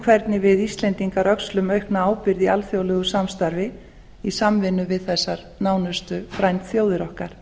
hvernig við íslendingar öxlum aukna ábyrgð í alþjóðlegu samstarfi í samvinnu við þessar nánustu frændþjóðir okkar